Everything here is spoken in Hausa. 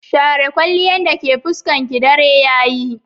Share kwalliyan dake fuskarki, dare yayi.